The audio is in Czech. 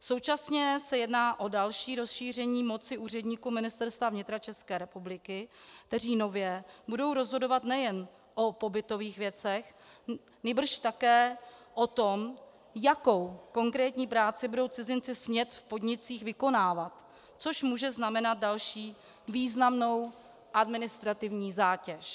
Současně se jedná o další rozšíření moci úředníků Ministerstva vnitra České republiky, kteří nově budou rozhodovat nejen o pobytových věcech, nýbrž také o tom, jakou konkrétní práci budou cizinci smět v podnicích vykonávat, což může znamenat další významnou administrativní zátěž.